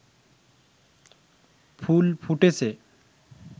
ফুল ফুটেছে